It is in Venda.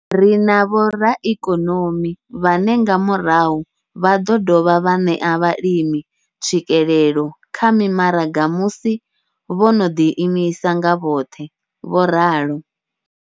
Ri na vhoraikonomi vhane nga murahu vha ḓo dovha vha ṋea vhalimi tswikelelo kha mimaraga musi vho no ḓi imisa nga vhoṱhe, vho ralo.